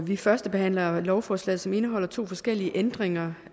vi førstebehandler lovforslaget som indeholder to forskellige ændringer